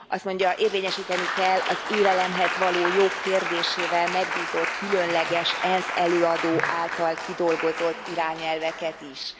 Az mondja, érvényesíteni kell az élelemhez való jog kérdésével megbízott különleges ENSZ előadó által kidolgozott irányelveket is.